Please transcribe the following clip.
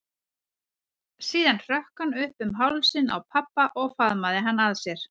Síðan stökk hann upp um hálsinn á pabba og faðmaði hann að sér.